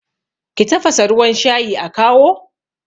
ki tafasa ruwan shayi a kawo?